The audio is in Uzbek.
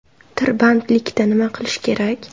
Tirbandlikda nima qilish kerak?